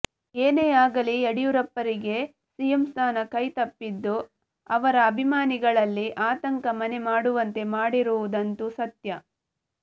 ಏನೇ ಆಗಲೀ ಯಡಿಯೂರಪ್ಪರಿಗೆ ಸಿಎಂ ಸ್ಥಾನ ಕೈತಪ್ಪಿದ್ದು ಅವರ ಅಭಿಮಾನಿಗಳಲ್ಲಿ ಆತಂಕ ಮನೆ ಮಾಡುವಂತೆ ಮಾಡಿರುವುದಂತೂ ಸತ್ಯ